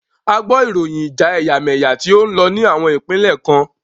A gbọ ìròyìn ìjà ẹ̀yàmẹ́yà tí o ń lọ ní àwọn ìpínlẹ̀ kan.